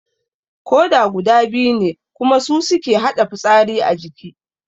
Koda guda biyu ne kuma su suke haɗa fitsari a jiki